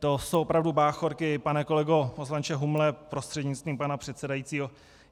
To jsou opravdu báchorky, pane kolego poslanče Humle prostřednictvím pana předsedajícího.